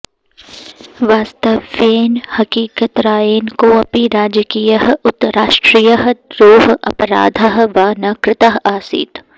वास्तव्येन हकीकतरायेन कोऽपि राजकीयः उत राष्ट्रीयः द्रोहः अपराधः वा न कृतः आसीत्